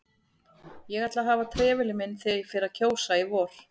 Ég ætla að hafa trefilinn minn þegar ég fer að kjósa í vor